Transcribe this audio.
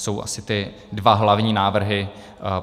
Jsou asi ty dva hlavní návrhy.